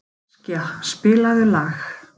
Askja, spilaðu lag.